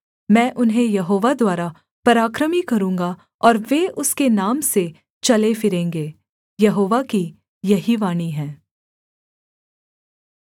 मैं उन्हें यहोवा द्वारा पराक्रमी करूँगा और वे उसके नाम से चले फिरेंगे यहोवा की यही वाणी है